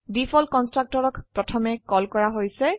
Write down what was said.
default কন্সট্ৰকটৰক প্ৰথমে call কৰাহৈছে